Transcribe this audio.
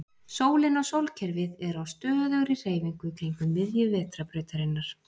Sólin og sólkerfið er á stöðugri hreyfingu kringum miðju Vetrarbrautarinnar.